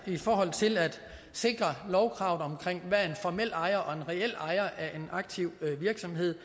i forhold til at sikre lovkravet om hvad en formel ejer og en reel ejer af en aktiv virksomhed